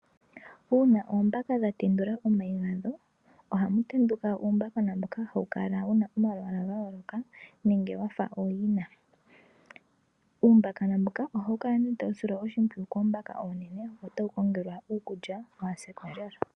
Uuna oombaka dhatendula omayi gadho, ohamu tenduka uumbakona mboka hawu kala wuna omalwaala gayooloka, nenge wafa ooyina. Uumbakona mbuka ohawu kala tawu silwa oshimpwiyu koombaka oonene, notawu kongelwa iikulya, opo kawu se kondjala.